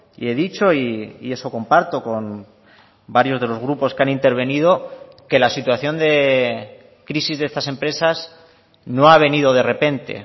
y he dicho y eso comparto con varios de los grupos que han intervenido que la situación de crisis de estas empresas no ha venido de repente